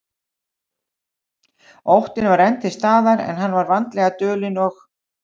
Óttinn var enn til staðar, en hann var vandlega dulinn og